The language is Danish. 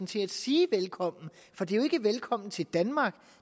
til at sige velkommen for det er jo ikke velkommen til danmark